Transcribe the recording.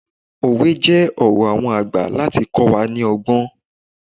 Òwe jẹ́ ọ̀rọ̀ àwọn àgbà láti kọ́ wa ní ọgbọ́n.